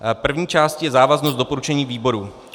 První částí je závaznost doporučení výboru.